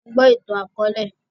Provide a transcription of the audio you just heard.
A ń gbọ́ ìtàn akọ̀ọ̀lẹ